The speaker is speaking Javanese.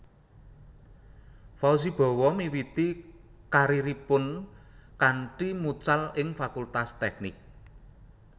Fauzi Bowo miwiti kariripun kanthi mucal ing Fakultas Teknik